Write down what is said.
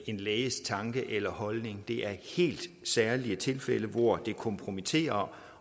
en læges tanke eller holdning det er helt særlige tilfælde hvor det er kompromitterende